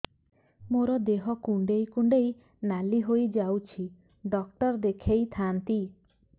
ମୋର ଦେହ କୁଣ୍ଡେଇ କୁଣ୍ଡେଇ ନାଲି ହୋଇଯାଉଛି ଡକ୍ଟର ଦେଖାଇ ଥାଆନ୍ତି